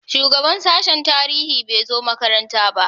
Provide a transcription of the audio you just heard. Shugaban sashen tarihi bai zo makaranta ba.